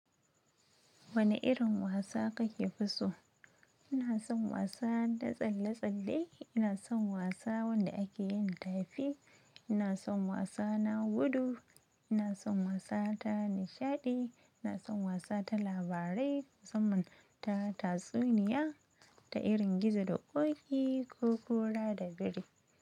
Wane irin wasa kake fi so? Ina san wasa da tsalle tsalle ina san wasa wanda ake yin tafi ina san wasa na gudu ina san wasa ta nishadi ina san wasa ta labarai musamman ta tatsuniya. Ta irin gizo da koki ko kura da biri.